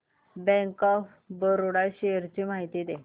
bank of Baroda shares ची माहिती दे